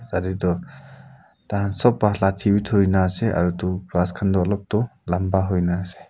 yate toh tai khan sob pa lathi bi duri na ase aro etu ghas khan toh olop toh lamba hoi kena ase.